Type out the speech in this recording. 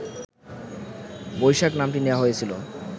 বৈশাখ নামটি নেয়া হয়েছিলো